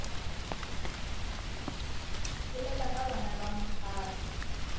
bolela ka bana ba mphato